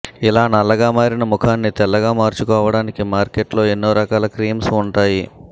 ఇలా నల్లగా మారిన ముఖాన్ని తెల్లగా మార్చుకోవటానికి మార్కెట్ లో ఎన్నో రకాల క్రీమ్స్ ఉంటాయి